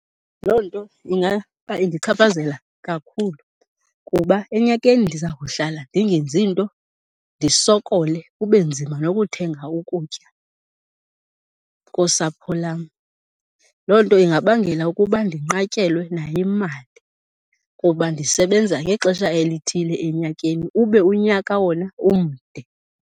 Loo nto indichaphazela kakhulu kuba enyakeni ndiza kuhlala ndingenzi nto ndisokole, kube nzima nokuthenga ukutya kosapho lam. Loo nto ingabangela ukuba ndinqatyelwe nayimali kuba ndisebenza ngexesha elithile enyakeni ube unyaka wona umde.